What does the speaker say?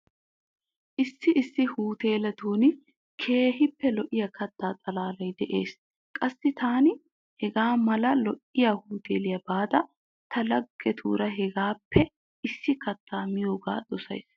Issi issi huteeletun keehin lo'iya katta xalaalay de'ees. Qassi taani hegaa mala lo'iya huteeliya baada ta laggetuuura hegaappe issi kattaa miyoogaa dosaysi.